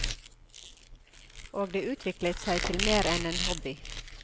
Og det utviklet seg til mer enn en hobby.